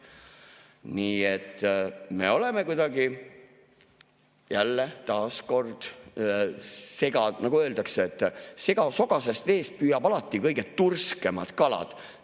Nii et kuidagi jälle, taas, nagu öeldakse, sogasest veest püüab alati kõige turskemad kalad.